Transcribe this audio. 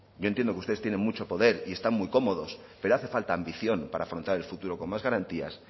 yo entiendo que ustedes tienen mucho poder y están muy cómodos pero hace falta ambición para afrontar el futuro con más garantías